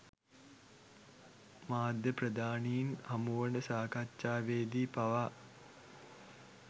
මාධ්‍ය ප්‍රධානීන් හමුවන සාකච්ඡවේ දී පවා